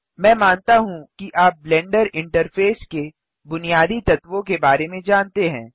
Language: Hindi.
मैं मानता हूँ कि आप ब्लेंडर इंटरफेस के बुनियादी तत्वों के बारे में जानते हैं